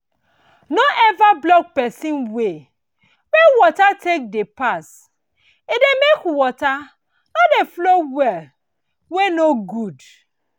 no ever block pesin way wey water take dey pass e dey make water no dey flow well wey no good